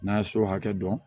N'a ye so hakɛ dɔn